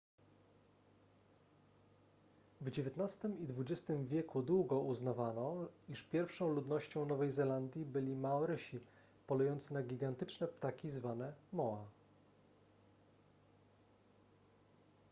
w dziewiętnastym i dwudziestym wieku długo uznawano iż pierwszą ludnością nowej zelandii byli maorysi polujące na gigantyczne ptaki zwane moa